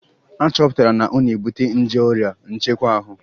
A chọpụtara na ọ na-ebute nje oria nchekwa ahu